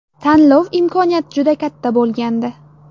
Tanlov imkoniyat juda katta bo‘lgandi.